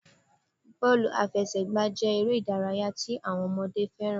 Bọ́ọ̀lù àfẹsẹ̀gbá jé eré ìdárayá tí àwọn ọmọdé fẹ́ràn